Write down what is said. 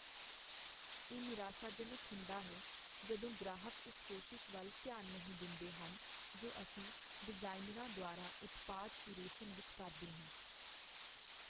ਇਹ ਨਿਰਾਸ਼ਾਜਨਕ ਹੁੰਦਾ ਹੈ ਜਦੋਂ ਗ੍ਰਾਹਕ ਉਸ ਕੋਸ਼ਿਸ਼ ਵੱਲ ਧਿਆਨ ਨਹੀਂ ਦਿੰਦੇ ਹਨ ਜੋ ਅਸੀਂ ਡਿਜ਼ਾਈਨਰਾਂ ਦੁਆਰਾ ਉਤਪਾਦ ਕਿਊਰੇਸ਼ਨ ਵਿੱਚ ਕਰਦੇ ਹਾਂ।